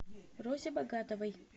розе богатовой